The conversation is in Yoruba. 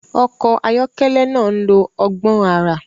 Ọkọ̀ ayọ́kẹ́lẹ́ náà ń lo ọgbọ́n àrà.